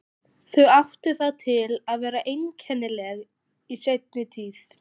Þau áttu það til að vera einkennileg í seinni tíð.